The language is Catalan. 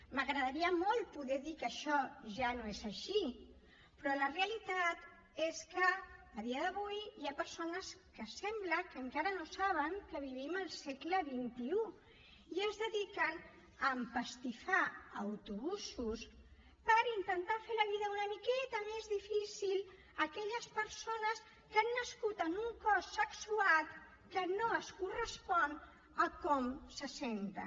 m’agradaria molt poder dir que això ja no és així però la realitat és que a dia d’avui hi ha persones que sembla que encara no saben que vivim al segle xxi i es dediquen a empastifar autobusos per intentar fer la vida una miqueta més difícil a aquelles persones que han nascut en un cos sexuat que no es correspon a com se senten